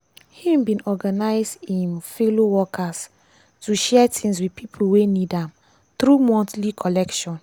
he bin organize i'm fellow workers to share things with pipo wey need am through monthly collection.